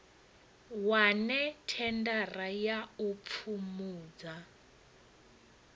wane thendara ya u pfumbudza